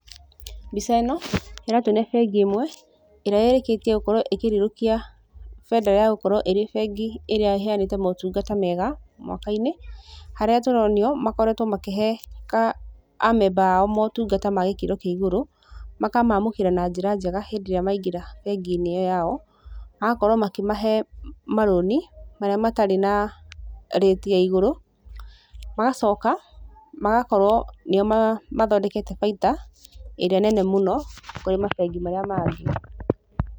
Mbica ĩno, ĩratuonia bengi ĩmwe, ĩrĩa ĩrĩkĩtie gũkorwo ĩkĩrirũkia bendera ya gũkorwo ĩrĩ bengi ĩrĩa ĩheanĩte motungata mega mwaka-inĩ, harĩa tũronio makoretwo makĩhe a memba ao motungata ma gĩkĩro kĩa igũrũ, makamamũkĩra na njĩra njega hĩndĩ ĩrĩa maingĩra bengi-inĩ ĩyo yao, magakorwo makĩmahe marũni marĩa matarĩ na rĩti ya igũrũ, magacoka magakorwo nĩo mathondekete bainda ĩrĩa nene mũno kũrĩ mabengi marĩa mangĩ.